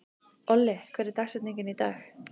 Olli, hver er dagsetningin í dag?